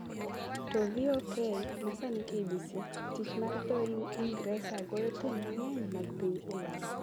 to VoK (ma sani KBC) Tich mar dho Ingresa goyo thum mang’eny mag piny Ulaya